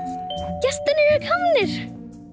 gestirnir eru komnir